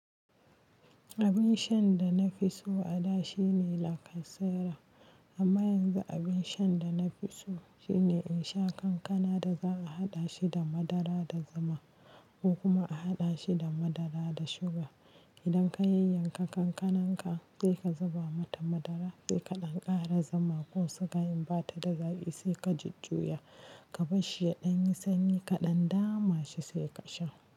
Abin shan da na fi so a da shine lacasera. Amma yanzu abin shan da na fi so shine in sha kankana da za a haɗa shi da madara da zama ko kuma a haɗa shi da madara da suga. Idan ka yanyanka kankananka sai ka zuba mata madara, sai ka ɗan ƙara zama ko sukayin ba ta da zaki, sai ka jujjuya ka barshi ya ɗan yi sanyi kaɗan dama shi sai ka sha.